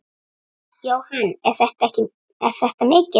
Jóhann: Er þetta mikið?